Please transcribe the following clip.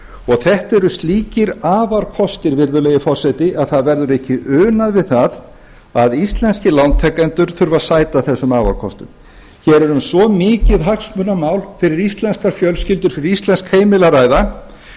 verðtryggingar þetta eru slíkir afarkostir virðulegi forseti að það verður ekki unað við það að íslenskir lántakendur þurfi að sæta þessum afarkostum hér er um svo mikið hagsmunamál fyrir íslenskar fjölskyldur fyrir íslensk heimili að ræða